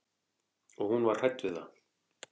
Og hún var hrædd við það.